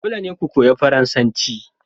Dole ne ku koyi Faransanci